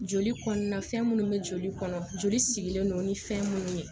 Joli kɔɔna fɛn munnu be joli kɔnɔ joli sigilen don ni fɛn munnu ye